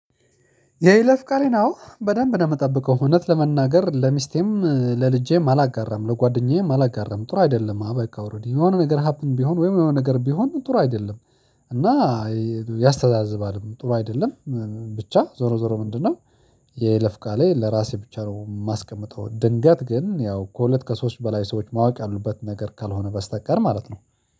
የይለፍ ቃሌን አዎ በደንብ ነው የምጠብቀው። እውነት ለመናገር ለሚስቴም ለልጄም አላጋራም። ለጓደኛዬም አላጋራም። ጥሩ አይደለም አበቃ ኦሬዲ የሆነ ነገር ሀፕን ቢሆን ወይም የሆነ ነገር ቢሆን ጥሩ አይደለም። እና ያስተዛዝባል። ጥሩ አይደለም። ብቻ ዞሮ ዞሮ ምንድነው የለፍ ቃሌ ለራሴ ብቻ ነው የማስቀምጠው። ድንገት ግን ያው ከሁለት ከሶስት በላይ ሰዎች ማወቅ ያሉበት ነገር ካልሆነ በስተቀር ማለት ነው።